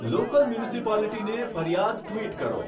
local મ્યુનિસિપાલિટીને ફરિયાદ tweet કરો